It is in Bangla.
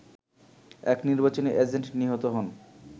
এক নির্বাচনী এজেন্ট নিহত হন